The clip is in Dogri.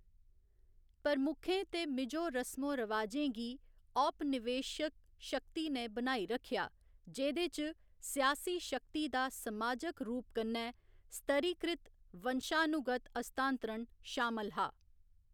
प्रमुखें ते मिजो रसमो रिवाजें गी औपनिवेशिक शक्ति ने बनाई रक्खेआ, जेह्‌‌‌दे च सियासी शक्ति दा समाजक रूप कन्नै स्तरीकृत वंशानुगत हस्तांतरण शामल हा।